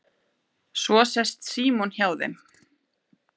Svo sest Símon hjá þeim